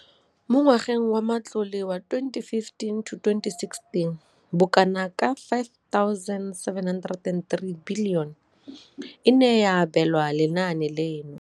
Mo ngwageng wa matlole wa 2015,16, bokanaka R5 703 bilione e ne ya abelwa lenaane leno.